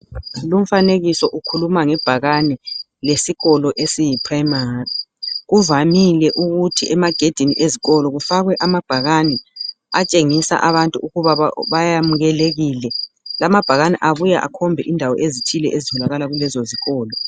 Lumfanekiso ukhuluma ngebhakane lesikolo esiyi primary .Kuvamile ukuthi emagedini ezikolo kufakwe amabhakane atshengisa abantu ukuba bayamukelekile .Lamabhakane abuya akhombe indawo ezithile ezitholakala kulezo zikolo .